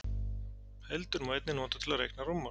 Heildun má einnig nota til að reikna rúmmál.